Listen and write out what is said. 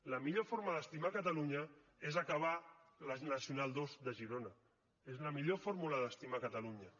la millor forma d’estimar catalunya és acabar la nacional ii de girona és la millor fórmula d’estimar catalunya